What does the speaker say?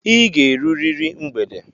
I ga-erurịrị mgbede!